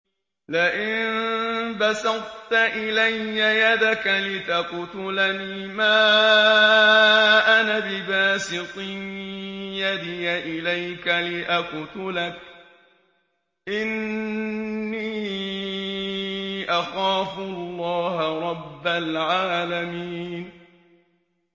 لَئِن بَسَطتَ إِلَيَّ يَدَكَ لِتَقْتُلَنِي مَا أَنَا بِبَاسِطٍ يَدِيَ إِلَيْكَ لِأَقْتُلَكَ ۖ إِنِّي أَخَافُ اللَّهَ رَبَّ الْعَالَمِينَ